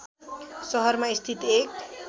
सहरमा स्थित एक